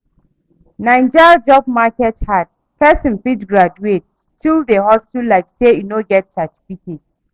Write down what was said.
Naija job market hard, pesin fit graduate, still dey hustle like say e no get certificate